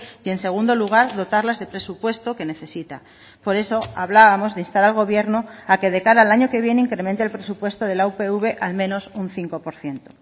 y en segundo lugar dotarlas de presupuesto que necesita por eso hablábamos de instar al gobierno a que de cara al año que viene incremente el presupuesto de la upv al menos un cinco por ciento